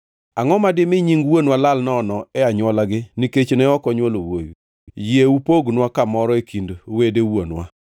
Angʼo ma dimi nying wuonwa lal nono e anywolagi nikech ne ok onywolo wuowi? Yie upognwa kamoro e kind wede wuonwa.”